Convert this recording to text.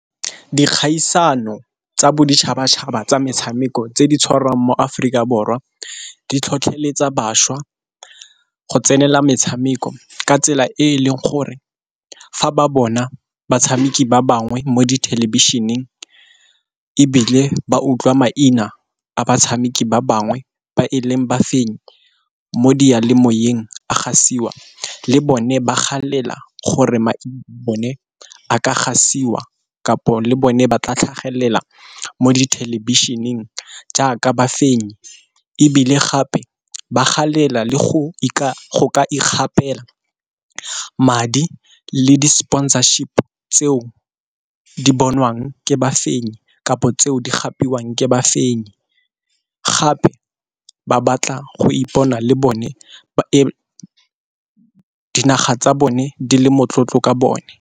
Dikgaisano tsa boditšhabatšhaba tsa metshameko tse di tshwarang mo Aforika Borwa, di tlhotlheletsa bašwa go tsenela metshameko ka tsela e e leng gore fa ba bona batshameki ba bangwe mo dithelebišeneng, ebile ba utlwa maina a batshameki ba bangwe ba e leng ba fenyi mo di diyalemoyeng a gasiwa le bone ba galela gore maina a bone a ka gasiwa kapo le bone ba tla tlhagelela mo dithelebišeneng jaaka ba fenyi. Ebile gape ba galela le go ikgapela madi le di sponsorship tseo di bonwang ke ba fenyi kapo tseo di gapetswang ke ba fenyi. Gape ba batla go ipona le bone dinaga tsa bone di le motlotlo ka bone.